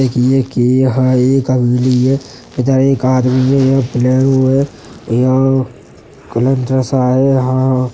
यहाँ एक आदमी है। यहाँ एक प्लेग्राउंड है। यहाँ है। यहाँ --